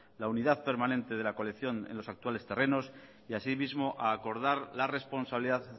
la unidad permanente de la colección en los actuales terrenos y así mismo a acordar la responsabilidad